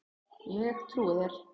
Ég trúi þér